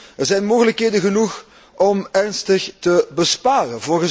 Welnu, er zijn mogelijkheden genoeg om serieus te besparen.